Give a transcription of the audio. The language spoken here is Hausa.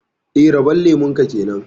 Eh, rabon lemun ka kenan